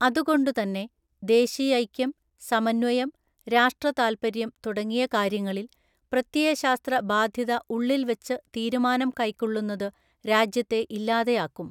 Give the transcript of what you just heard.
അതുകൊണ്ടുതന്നെ, ദേശീയൈക്യം, സമന്വയം, രാഷ്ട്ര താല്പര്യം തുടങ്ങിയ കാര്യങ്ങളില്‍ പ്രത്യയശാസ്ത്ര ബാധ്യത ഉള്ളില്‍ വച്ചു തീരുമാനം കൈക്കൊള്ളുന്നതു രാജ്യത്തെ ഇല്ലാതെയാക്കും.